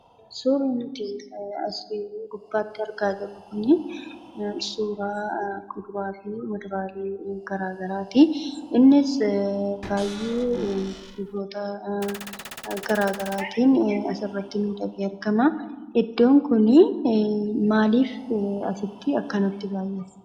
Suurri nuti as gubbaatti argaa jirru kun suuraa muduraa fi kuduraalee garaagaraatii. Innis baay'ee gosoota garaagaraatiin asirratti mul'atee argama. Iddoon kun maaliif akkanatti dhufe?